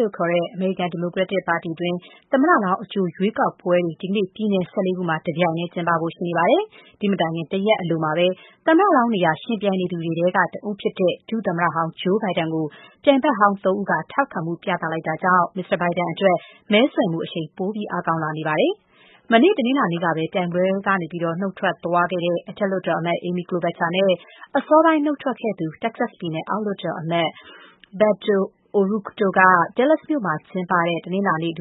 လို့ခေါ်တဲ့ အမေရိကန် ဒီမိုကရက်တစ်ပါတီတွင်း သမ္မတလောင်း အကြိုရွေးကောက်ပွဲတွေ ဒီကနေ့ ပြည်နယ် ၁၄ ခုမှာ တပြိုင်တည်းကျင်းပမယ့် အချိန်မတိုင်ခင် တရက်အလိုမှာပဲ သမ္မတလောင်းနေရာ ယှဉ်ပြိုင်နေသူတွေထဲက တဦးဖြစ်တဲ့ ဒုသမ္မတဟောင်း Joe Biden ကို ပြိုင်ဘက်ဟောင်း ၃ ဦးက ထောက်ခံမှု ပြသလိုက်တာကြောင့် မစ္စတာဘိုင်ဒန်အတွက် မဲဆွယ်မှုအရှိန် ပို အားကောင်းလာနေပါတယ်။ မနေ့ တနင်္လာနေ့ကပဲ ပြိုင်ပွဲကနေ နုတ်ထွက်သွားတဲ့ အထက်လွှတ်တော်အမတ် Amy Klobuchar နဲ့ အစောပိုင်းနုတ်ထွက်ခဲ့သူ တက္ကဆက်ပြည်နယ် အောက်လွှတ်တော်အမတ် Beto O'Rourke တို့က မနေ့ တနင်္လာနေ့ Dallas မြို့မှာကျင်းပတဲ့ လူ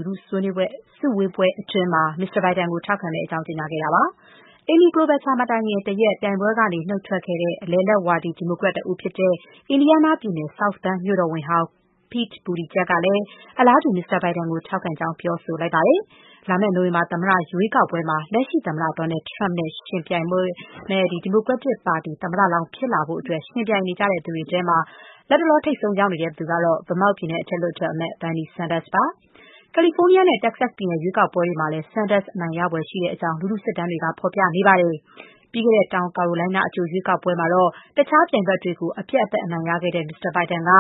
ထုစုဝေးပွဲ အတွင်း မစ္စတာဘိုင်ဒန်ကို ထောက်ခံသွားမယ့်အကြောင်း ကြေညာခဲ့ကြတာပါ။ Amy Klobuchar မတိုင်ခင်တရက် ပြိုင်ပွဲကနုတ်ထွက်ခဲ့သူ အလယ်အလတ်ဝါဒီ ဒီမိုကရက်တဦးဖြစ်တဲ့ အင်ဒီယားနားပြည်နယ် South Bend မြို့တော်ဝန်ဟောင်း Pete Buttigieg ကလည်း အလားတူပဲ မစ္စတာဘိုင်ဒန်ကို ထောက်ခံလိုက်ပါတယ်။ လာမယ့်နိုဝင်ဘာ သမ္မတရွေးကောက်ပွဲမှာ လက်ရှိသမ္မတ Donald Trump နဲ့ယှဉ်ပြိုင်မယ့် ဒီမိုကရက်တစ်ပါတီ သမ္မတလောင်းဖြစ်လာဖို့ ယှဉ်ပြိုင်နေသူတွေထဲမှာ လတ်တလော ထိပ်ဆုံးရောက်နေသူကတော့ Vermont ပြည်နယ် အထက်လွှတ်တော်အမတ် Bernie Sanders ပါ။ California နဲ့ Texas ပြည်နယ် ရွေးကောက်ပွဲတွေမှာလည်း Sanders အနိုင်ရနိုင်ဖွယ်ရှိကြောင်း လူထုစစ်တမ်းတွေကတော့ ဖော်ပြနေပါတယ်။ ပြီးခဲ့တဲ့ တောင်ကာရိုလိုင်းနား အကြိုရွေးကောက်ပွဲမှာ တခြားပြိုင်ဘက်တွေကို အပြတ်အသတ်အနိုင်ရခဲ့တဲ့ မစ္စတာဘိုင်ဒန်က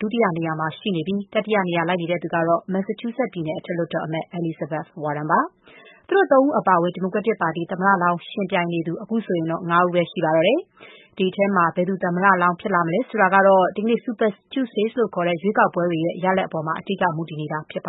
ဒုတိယနေရာမှာရှိနေပြီး တတိယနေရာ လိုက်နေသူကတော့ Massachusetts ပြည်နယ် အထက်လွှတ်တော်အမတ် Elizabeth Warren ဖြစ်ပါတယ်။ သူတို့သုံးဦးအပါအဝင် ဒီမိုကရက်တစ်ပါတီ သမ္မလောင်းနေရာ ယှဉ်ပြိုင်သူ အခုဆိုရင် ၅ ဦးပဲ ကျန်ပါတော့တယ်။ သူတို့အထဲက ဘယ်သူ သမ္မတလောင်း ဖြစ်လာမယ်မလဲ ဆိုတာကတော့ ဒီကနေ့ Super Tuesday ရွေးကောက်ပွဲတွေ ရလဒ်တွေပေါ်မှာ အဓိက မူတည်နေတာဖြစ်ပါ